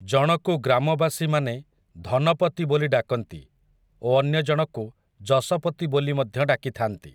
ଜଣକୁ ଗ୍ରାମବାସୀମାନେ ଧନପତି ବୋଲି ଡାକନ୍ତି, ଓ ଅନ୍ୟଜଣକୁ, ଯଶପତି ବୋଲି ମଧ୍ୟ ଡାକିଥାନ୍ତି ।